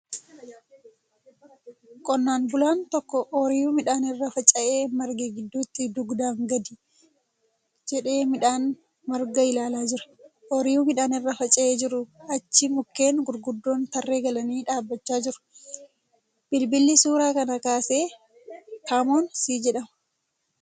Qonnaan bulaan tokko ooyiruu midhaan irra faca'ee marge gidduutti dugdaan gadhi jedhee midhaan margaa ilaalaa jira. Ooyiruu midhaan irra faca'ee jiruu achi mukkeen gurguddoon tarree galanii dhaabbachaa jiru. Bilbilli suuraa kana kaase kamoon C jedhama.